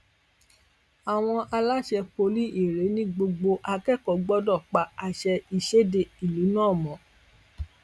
àwọn aláṣẹ poli irèé ní gbogbo akẹkọọ gbọdọ pa àṣẹ ìṣẹde ìlú náà mọ